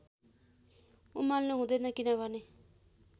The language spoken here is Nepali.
उमाल्नु हुँदैन किनभने